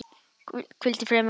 Hvíldu í friði, mamma mín.